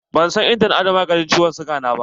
Ban san inda na ajiye maganin ciwon siga na ba.